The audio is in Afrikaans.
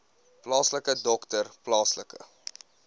plaaslike dokter plaaslike